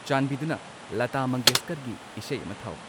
ꯆꯥꯟꯕꯤꯗꯨꯅ ꯂꯥꯇꯥ ꯃꯪꯒꯦꯁꯀꯔꯒꯤ ꯏꯁꯩ ꯑꯃ ꯊꯥꯎ